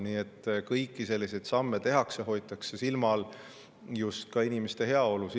Nii et kõiki selliseid samme tehakse ja silmas peetakse inimeste heaolu.